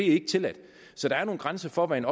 ikke tilladt så der er nogle grænser for hvad en